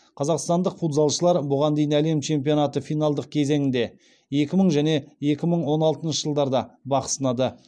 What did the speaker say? қазақстандық футзалшылар бұған дейін әлем чемпионаты финалдық кезеңінде екі мың және екі мың он алтыншы жылдарда бақ сынады